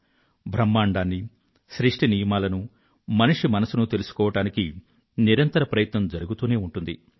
బ్రహ్మాండాన్నీ సృష్టి నియమాలనూ మనిషి మనసునూ తెలుసుకోవడానికి నిరంతర ప్రయత్నం జరుగుతూనే ఉంటుంది